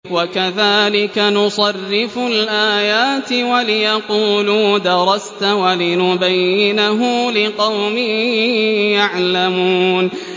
وَكَذَٰلِكَ نُصَرِّفُ الْآيَاتِ وَلِيَقُولُوا دَرَسْتَ وَلِنُبَيِّنَهُ لِقَوْمٍ يَعْلَمُونَ